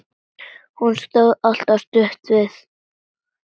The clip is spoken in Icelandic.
Hún stóð alltaf stutt við.